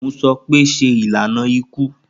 Mo sọ pe, ṣe ilana iku.